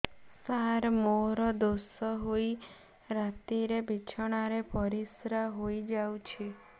ସାର ମୋର ଦୋଷ ହୋଇ ରାତିରେ ବିଛଣାରେ ପରିସ୍ରା ହୋଇ ଯାଉଛି